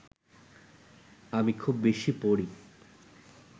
আমি খুব বেশি পড়ি